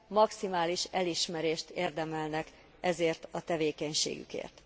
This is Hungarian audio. Maximális elismerést érdemelnek ezért a tevékenységükért.